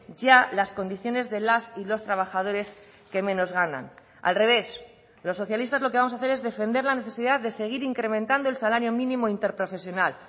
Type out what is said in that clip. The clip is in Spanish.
ya las condiciones de las y los trabajadores que menos ganan al revés los socialistas lo que vamos a hacer es defender la necesidad de seguir incrementando el salario mínimo interprofesional